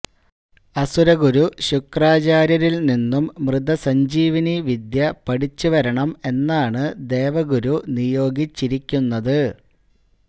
അസുരഗുരു ശുക്രാചാര്യരില് നിന്നും മൃതസഞ്ജീവനി വിദ്യ പഠിച്ചു വരണം എന്നാണ് ദേവഗുരു നിയോഗിച്ചിരിക്കുന്നത്